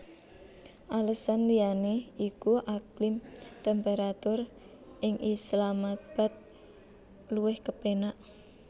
Alesan liyané iku iklim temperatur ing Islamabad luwih kepénak